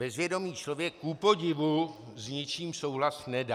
Bezvědomý člověk kupodivu s ničím souhlas nedá.